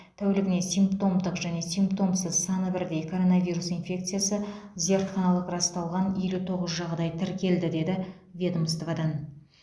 тәулігіне симптомдық және симптомсыз саны бірдей коронавирус инфекциясы зертханалық расталған елу тоғыз жағдай тіркелді деді ведомстводан